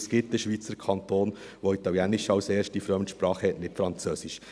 Es gibt einen Schweizer Kanton, der Italienisch als erste Fremdsprache hat und nicht Französisch.